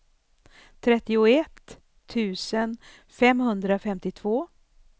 trettioett tusen femhundrafemtiotvå